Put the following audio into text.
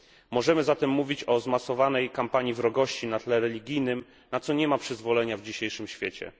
Możemy zatem mówić o zmasowanej kampanii wrogości na tle religijnym, na co nie ma przyzwolenia w dzisiejszym świecie.